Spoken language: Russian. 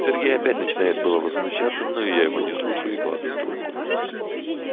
сергей опять начинает было возмущаться но я его не слушаю и кладу трубку